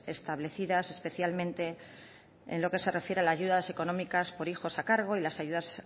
establecidas especialmente en lo que se refiere a las ayudas económicas por hijos a cargo y las ayudas